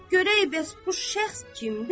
Görək bəs bu şəxs kimdi?